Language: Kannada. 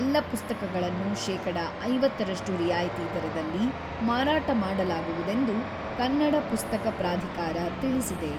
ಎಲ್ಲ ಪುಸ್ತಕಗಳನ್ನು ಶೇಕಡ ಐವತ್ತರಷ್ಟು ರಿಯಾಯಿತಿ ದರದಲ್ಲಿ ಮಾರಾಟ ಮಾಡಲಾಗುವುದೆಂದು, ಕನ್ನಡ ಪುಸ್ತಕ ಪ್ರಾಧಿಕಾರ ತಿಳಿಸಿದೆ.